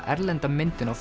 erlenda myndin á